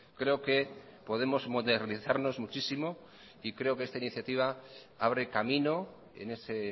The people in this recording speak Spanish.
creo que podemos modernizarnos muchísimo y creo que esta iniciativa abre camino en ese